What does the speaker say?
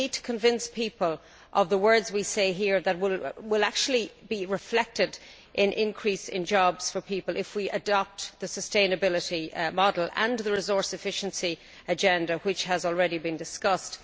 We need to convince people that the words we say here will actually be reflected in an increase in jobs if we adopt the sustainability model and the resource efficiency agenda which has already been discussed.